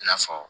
I n'a fɔ